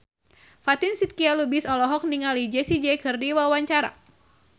Fatin Shidqia Lubis olohok ningali Jessie J keur diwawancara